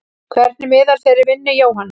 Hvernig miðar þeirri vinnu Jóhanna?